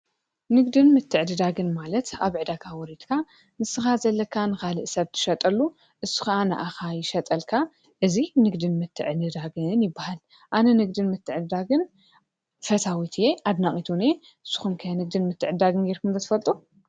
ንግድን ምትዕድዳግን ማለት አብ ዕዳጋ ወሪድካ ንስኻ ዘለካ ንካሊእ ሰብ እትሸጠሉ ንሱ ካዓ ንዓካ ይሸጠልካ እዙይ ንግድን ምትዕድዳግን ይበሃል። ኣነ ንግድን ምትዕድዳግን ፈታዊት እየ አድናቒትን እውን እየ። ንስኩም ከ ንግድን ምትዕድዳግን ጌርኩም ዶ ትፈልጡ?